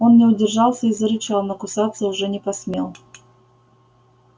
он не удержался и зарычал но кусаться уже не посмел